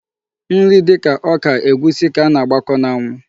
Nri dịka ọka, egwusi ka a na-agbakọ n'anwụ.